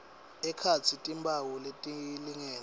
ekhatsi timphawu letilingene